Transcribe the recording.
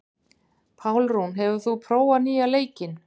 Pálrún, hefur þú prófað nýja leikinn?